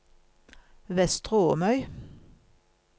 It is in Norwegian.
Vestre Åmøy